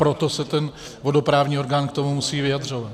Proto se ten vodoprávní orgán k tomu musí vyjadřovat.